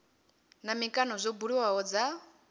na mikano zwo buliwaho dza